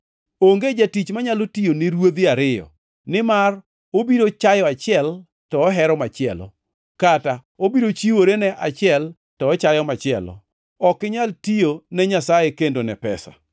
“Onge jatich manyalo tiyo ne ruodhi ariyo. Nimar obiro chayo achiel to ohero machielo, kata obiro chiwore ne achiel to ochayo machielo. Ok inyal tiyo ne Nyasaye kendo ne pesa.”